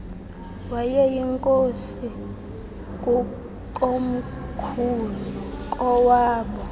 wayeyinkosi kukomkhulu kowaaboo